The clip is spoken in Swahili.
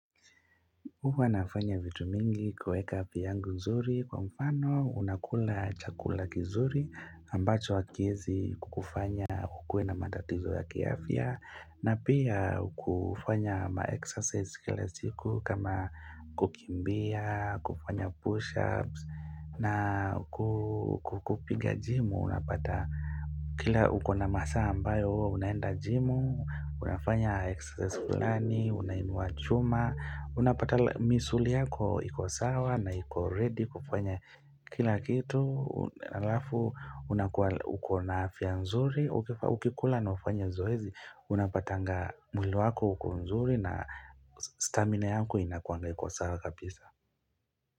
Huwa nafanya vitu mingi kueka afya yangu nzuri kwa mfano unakula chakula kizuri ambacho hakiwezi kukufanya kukue na matatizo ya kiafya na pia kufanya maexercise kila siku kama kukimbia, kufanya push-ups na ku kupiga jimu unapata. Kila ukona masaa ambayo, huwa unaenda jimu, unafanya exercise fulani, unainua chuma, unapata misuli yako iko sawa na iko ready kufanya kila kitu, alafu unakuwa ukona afya nzuri, ukikula na ufanye zoezi, unapatanga mwili wako uko nzuri na stamina yako inakuanga iko sawa kabisa.